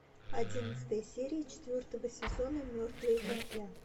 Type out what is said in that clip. одиннадцатая серия четвертого сезона мертвые как я